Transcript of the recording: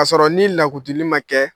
K'a sɔrɔ ni lakutili ma kɛ